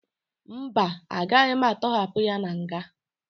Mba, agaghị atọhapụ ya na nga